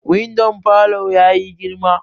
Windon falo ya yi girma